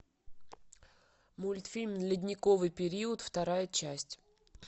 мультфильм ледниковый период вторая часть